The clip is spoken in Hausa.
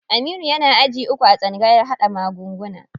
Aminu yana aji uku a tsangayar haɗa magunguna.